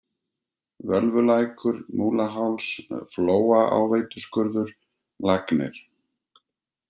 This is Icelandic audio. Völvulækur, Múlaháls, Flóaáveituskurður, Lagnir